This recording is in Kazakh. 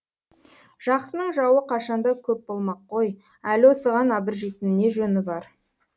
жақсының жауы қашанда көп болмақ қой әлі осыған абыржитын не жөні бар